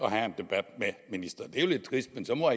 at have en debat med ministeren det er jo lidt trist men så må